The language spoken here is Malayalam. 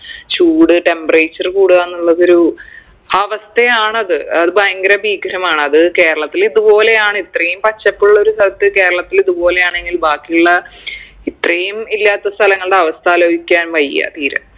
ചൂട് temperature കൂടുകാന്നുള്ളത് ഒരു അവസ്ഥയാണത് അത് ഭയങ്കര ഭീകരമാണ് അത് കേരളത്തിൽ ഇതുപോലെ ആണ് ഇത്രയും പച്ചപ്പുള്ളൊരു സ്ഥലത്ത് കേരളത്തിൽ ഇതുപോലെ ആണെങ്കിൽ ബാക്കിയുള്ള ഇത്രയും ഇല്ലാത്ത സ്ഥലങ്ങളുടെ അവസ്ഥ ആലോയ്ക്കാൻ വയ്യ തീരെ